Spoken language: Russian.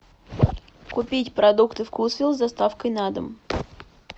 купить продукты вкусвилл с доставкой на дом